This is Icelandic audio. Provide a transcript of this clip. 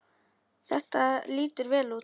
Þetta lítur vel út.